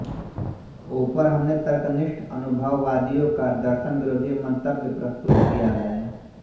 ऊपर हमने तर्कनिष्ठ अनुभववादियों का दर्शनविरोधी मन्तव्य प्रस्तुत किया है